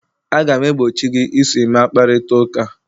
Aga m egbochi gị iso Emma kparịta ụka!